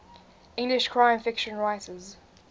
english crime fiction writers